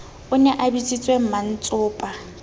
o ne a bitsitse mmantsopa